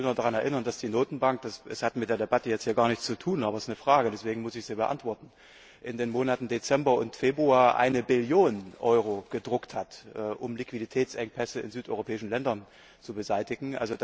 Ich will nur daran erinnern, dass die Notenbank das hat mit der Debatte hier jetzt gar nichts zu tun, aber es ist eine Frage, deswegen muss ich sie beantworten in den Monaten Dezember und Februar eine Billion Euro gedruckt hat, um Liquiditätsengpässe in südeuropäischen Ländern zu beseitigen.